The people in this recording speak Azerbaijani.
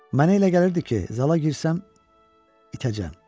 Mənə elə gəlirdi ki, zala girsəm, itəcəm.